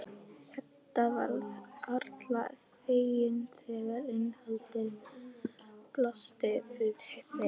Edda varð harla fegin þegar innihaldið blasti við þeim.